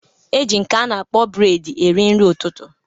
E ji nke a na-akpọ bred eri nri ụtụtụ.